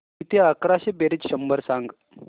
किती अकराशे बेरीज शंभर सांग